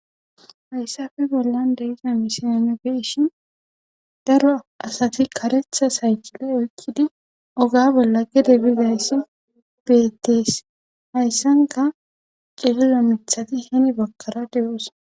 Hayssafe bollan de'iza misile nuni be'ishin daro asati karetha saykile oykkidi oga bolla gede bizayssi beettees hayssanka cililo mithati hini bagara de'osona